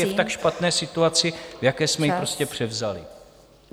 ...je v tak špatné situaci, v jaké jsme ji prostě převzali.